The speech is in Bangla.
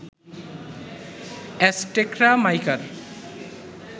অ্যাজটেকরা মাইকার